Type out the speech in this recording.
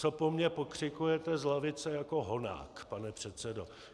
Co po mně pokřikujete z lavice jako honák, pane předsedo?